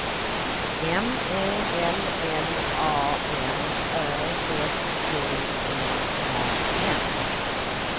M E L L A N Ö S T E R N